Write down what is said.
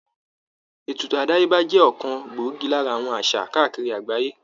Ètùtù àdáyébá jẹ́ ọ̀kan gbòógì lára àwọn àṣà káàkiri àgbáyé